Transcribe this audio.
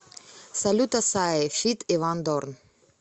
салют ассаи фит иван дорн